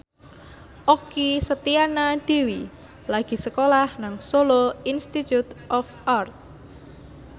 Okky Setiana Dewi lagi sekolah nang Solo Institute of Art